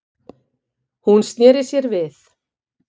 Hún sneri sér við.